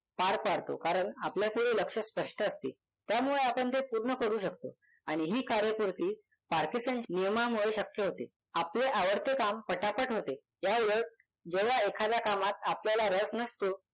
पार पाडतो. कारण आपल्यापुढे लक्ष्य स्पष्ट असते त्यामुळे आपण ते पूर्ण करू शकतो आणि ही कार्यपूर्ती पार्किसनच्या नियमामुळे शक्य होते. आपले आवडते काम पटापट होते. याउलट जेव्हा एखाद्या कामात आपल्याला रस नसतो